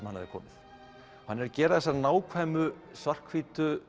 hann hafði komið hann er að gera þessar nákvæmu svart hvítu